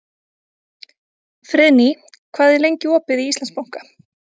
Friðný, hvað er lengi opið í Íslandsbanka?